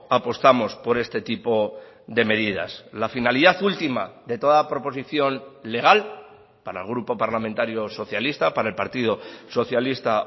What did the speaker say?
apostamos por este tipo de medidas la finalidad última de toda proposición legal para el grupo parlamentario socialista para el partido socialista